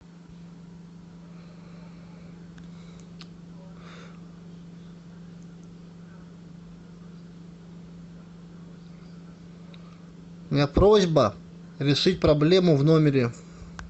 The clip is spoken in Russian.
у меня просьба решить проблему в номере